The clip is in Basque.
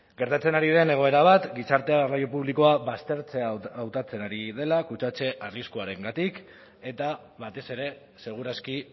gertatzen ari den egoera bat gizartea garraio publikoa baztertzea hautatzen ari dela kutsatze arriskuarengatik eta batez ere seguraski